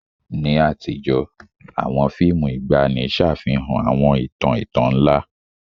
Ní àtijọ́, àwọn fíìmù ìgbàanì ṣàfihàn àwọn ìtàn ìtàn ńlá.